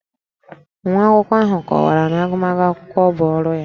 Nwa akwụkwọ ahụ kọwara na agụmakwụkwọ bụ ọrụ ya